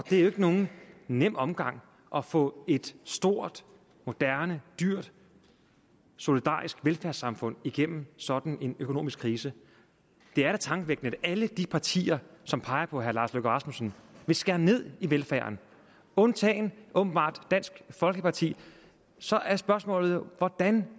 det er jo ikke nogen nem omgang at få et stort moderne dyrt solidarisk velfærdssamfund igennem sådan en økonomisk krise det er da tankevækkende at alle de partier som peger på herre lars løkke rasmussen vil skære ned i velfærden undtagen åbenbart dansk folkeparti så er spørgsmålet jo hvordan